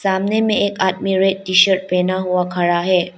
सामने में एक आदमी रेड टी शर्ट पहना हुआ खड़ा है।